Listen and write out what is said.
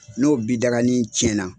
N'o bidaganin cɛn na